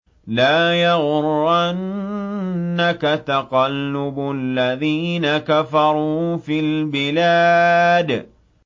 لَا يَغُرَّنَّكَ تَقَلُّبُ الَّذِينَ كَفَرُوا فِي الْبِلَادِ